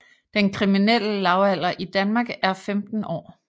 Den kriminelle lavalder i Danmark er 15 år